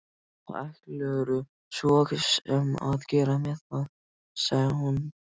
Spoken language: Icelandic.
Hvað ætlarðu svo sem að gera með það, sagði hún.